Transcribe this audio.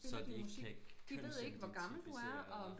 Så de ikke kan kønsidentificere dig